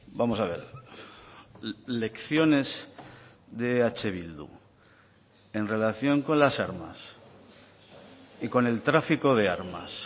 vamos a ver lecciones de eh bildu en relación con las armas y con el tráfico de armas